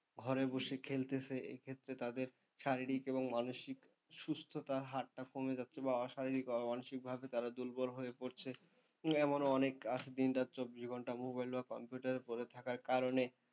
ঘরে বসে খেলতেছে এক্ষেত্রে তাদের শারীরিক এবং মানসিক সুস্থ্যতার হারটা কমে যাচ্ছে বা অশারীরিক অমানসিকভাবে তার দুর্বল হয়ে পড়ছে এমনও অনেক আছে দিন রাত চব্বিশ ঘণ্টা mobile বা computer এ পরে থাকার কারণে,